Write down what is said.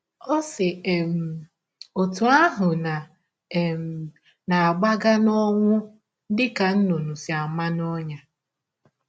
Ọ si um ọtụ ahụ na um - agbaga n’ọnwụ dị ka nnụnụ si ama n’ọnyà!